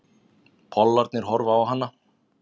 Pollarnir horfa á hana.